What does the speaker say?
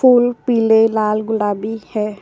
फूल पीले लाल गुलाबी है।